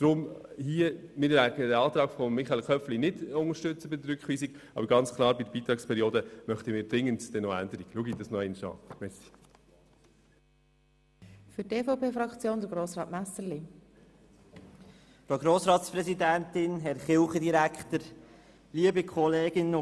Wir werden den Antrag von Michael Köpfli auf Rückweisung nicht unterstützen, aber wir möchten dringend die Beitragsperiode ändern.